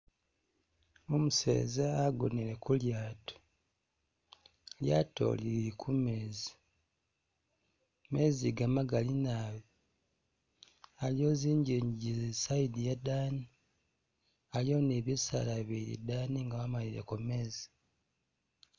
Umuseza agonele ku lyaato, lyaato lili kumezi, mezi aga magali naabi, aliwo zinjinji e'side yedani , aliwo ni bisaala bili idani nga wamalireko mezi